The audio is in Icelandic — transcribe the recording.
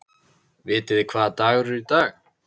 Vitið þið hvaða dagur er í dag?